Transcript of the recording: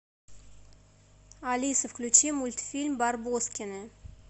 алиса включи мультфильм барбоскины